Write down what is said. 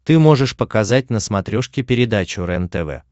ты можешь показать на смотрешке передачу рентв